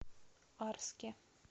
арске